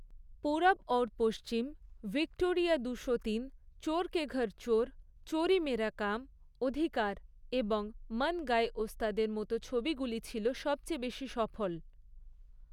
Purab Aur Pachhim', 'Victoria দুশোতিন', 'চোর কে ঘর চোর', 'চোরি মেরা কাম', 'অধিকার' এবং 'মান গায়ে ওস্তাদ' এর মতো ছবিগুলি ছিল সবচেয়ে বেশী সফল।